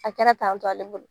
A kɛra tan tɔ ale bolo